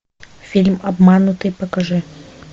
фильм обманутый покажи